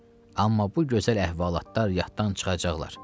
Amma bu gözəl əhvalatlar yaddan çıxacaqlar."